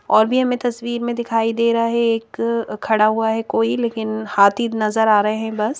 और भी हमें तस्वीर में दिखाई दे रहा है एक खड़ा हुआ है कोई लेकिन हाथी नजर आ रहे हैं बस --